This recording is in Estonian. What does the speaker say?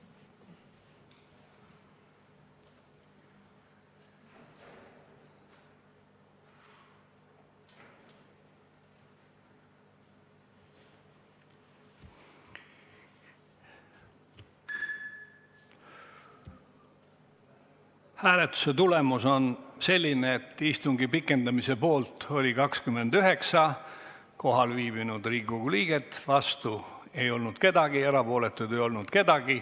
Hääletustulemused Hääletuse tulemus on selline, et istungi pikendamise poolt oli 29 kohal viibinud Riigikogu liiget, vastu ei olnud keegi ja ka erapooletuid ei olnud.